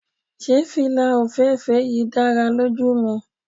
Se fila ofeefee yii dara loju mi